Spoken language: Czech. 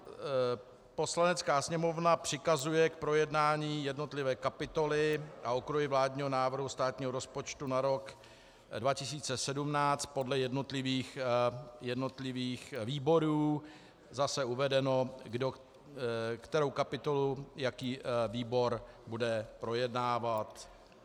Poslanecká sněmovna přikazuje k projednání jednotlivé kapitoly a okruhy vládního návrhu státního rozpočtu na rok 2017 podle jednotlivých výborů, zase uvedeno, kterou kapitolu jaký výbor bude projednávat.